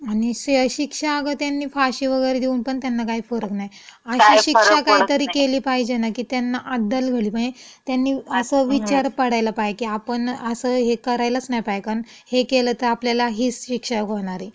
आणि शिक्षा अगं त्यांनी फाशी वगैरे देऊन पण त्यांना काही फरक नाई. अशी शिक्षा काही तरी केली पाहिजेना की त्यांना अद्दल घडली पाहे. त्यांनी असं विचार पडायला पाहे की आपण असं हे करायलाच नाही पाहे कन् हे केलं तं आपल्यला ही शिक्षा होणार ये. काही फरक पडत नाई. हम्म.